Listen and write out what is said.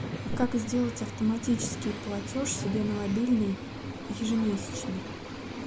как сделать автоматический платеж себе на мобильный ежемесячно